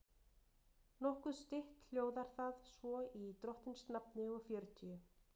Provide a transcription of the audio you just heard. Nokkuð stytt hljóðar það svo í drottins nafni og fjörutíu